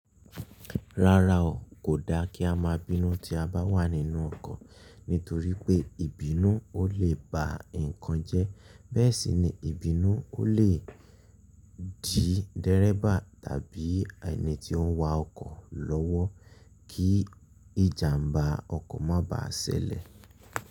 Rárá o, kò da kí a máa bínú tí a bá wà nínú ọkọ̀ nítorí pé ìbínú ó lè ba nǹkan jẹ́. Bẹ́ẹ̀ sì ni ìbínú ó lè dí dẹ́rebà tàbí ẹni tí ó ń wa ọkọ̀ lọ́wọ́ kí ìjàǹbá ọkọ̀ má ba à ṣẹlẹ̀